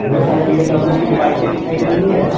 ढेर सारी बी_एम_डब्लू की बाईकें दिखाई दे रही हैं।